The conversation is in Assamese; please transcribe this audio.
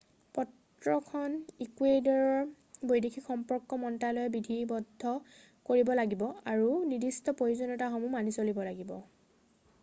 পত্ৰখন ইকুৱেডৰৰ বৈদেশিক সম্পৰ্ক মন্ত্ৰালয়ে বিধিবদ্ধ কৰিব লাগিব আৰু নিৰ্দিষ্ট প্ৰয়োজনীয়তাসমূহ মানি চলিব লাগিব